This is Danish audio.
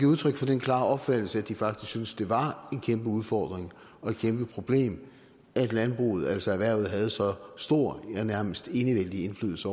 udtryk for den klare opfattelse at de faktisk synes det var en kæmpe udfordring og et kæmpe problem at landbruget altså erhvervet havde så stor ja nærmest enevældig indflydelse